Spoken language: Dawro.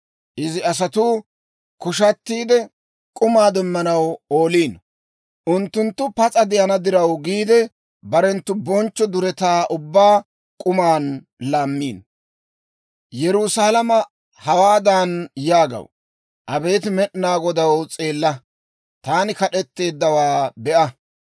Izi asatuu koshatiide, k'umaa demmanaw ooliino. Unttunttu pas'a de'ana diraw giide, barenttu bonchcho duretaa ubbaa k'uman laammiino. Yerusaalama hawaadan yaagaw; «Abeet Med'inaa Godaw, s'eella; taani kad'etteeddawaa be'a!